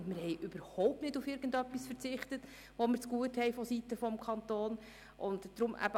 Wir haben überhaupt nicht auf irgendetwas verzichtet, das wir seitens des Kantons zugut haben.